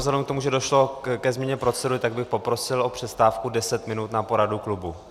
Vzhledem k tomu, že došlo ke změně procedury, tak bych poprosil o přestávku deset minut na poradu klubu.